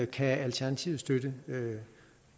kan alternativet støtte